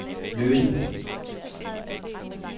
løsen